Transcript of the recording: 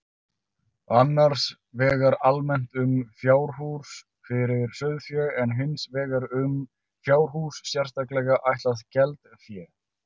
Annars vegar almennt um fjárhús fyrir sauðfé en hins vegar um fjárhús sérstaklega ætlað geldfé.